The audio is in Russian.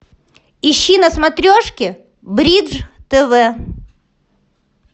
ищи на смотрешке бридж тв